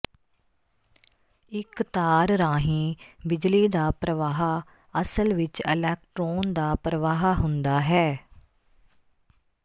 ਇਕ ਤਾਰ ਰਾਹੀਂ ਬਿਜਲੀ ਦਾ ਪ੍ਰਵਾਹ ਅਸਲ ਵਿਚ ਇਲੈਕਟ੍ਰੋਨ ਦਾ ਪ੍ਰਵਾਹ ਹੁੰਦਾ ਹੈ